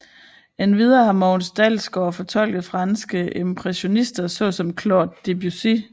Endvidere har Mogens Dalsgaard fortolket franske impressionister såsom Claude Debussy